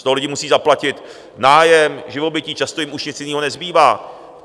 Z toho lidi musí zaplatit nájem, živobytí, často jim už nic jiného nezbývá.